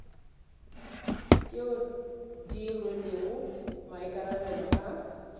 tšeo di rwelego maikarabelo a